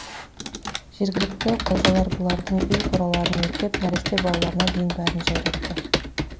жергілікті қожалар бұлардың үй қораларын өртеп нәресте балаларына дейін бәрін жайратты